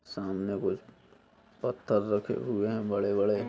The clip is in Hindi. सामने कुछ पत्थर रखे हुए हैं बड़े-बड़े।